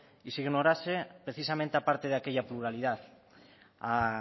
y se ignorase precisamente parte de aquella pluralidad a